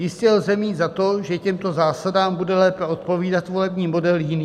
Jistě lze mít za to, že těmto zásadám bude lépe odpovídat volební model jiný.